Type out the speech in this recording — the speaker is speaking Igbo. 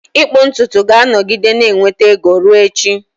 Ịkpụ ntutu ga-anọgide na-enweta ego ruo echi.